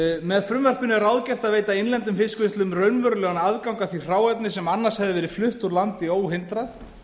með frumvarpinu er ráðgert að veita innlendum fiskvinnslum raunverulegan aðgang að því hráefni sem annars hefði verið flutt úr landi óhindrað